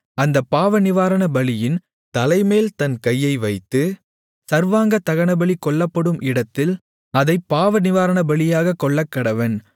அந்தப் பாவநிவாரணபலியின் தலைமேல் தன் கையை வைத்து சர்வாங்கதகனபலி கொல்லப்படும் இடத்தில் அதைப் பாவநிவாரணபலியாகக் கொல்லக்கடவன்